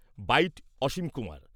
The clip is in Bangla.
বাইট অসীম কুমার